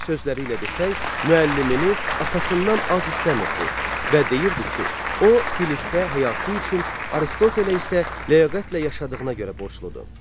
Öz sözləri ilə desək, müəllimini atasından az istəmirdi və deyirdi ki, o Filippə həyatı üçün, Aristotelə isə ləyaqətlə yaşadığına görə borcludu.